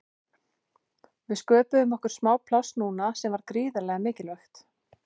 Við sköpuðum okkur smá pláss núna sem var gríðarlega mikilvægt.